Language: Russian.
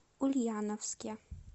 ульяновске